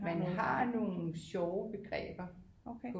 Man har nogle sjove begreber